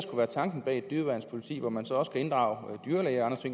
er tanken bag et dyreværnspoliti hvor man så også kan inddrage dyrlæger og